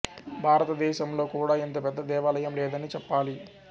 భారతదేశం లో కూడా ఇంత పెద్ద దేవాలయం లేదనే చెప్పాలి